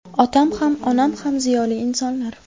Otam ham, onam ham ziyoli insonlar.